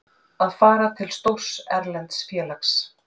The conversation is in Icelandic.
Að fara til stórs erlends félags?